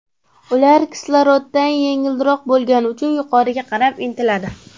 Ular kisloroddan yengilroq bo‘lgani uchun yuqoriga qarab intiladi.